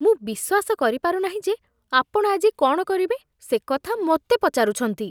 ମୁଁ ବିଶ୍ୱାସ କରିପାରୁ ନାହିଁ ଯେ ଆପଣ ଆଜି କ'ଣ କରିବେ ସେ କଥା ମୋତେ ପଚାରୁଛନ୍ତି।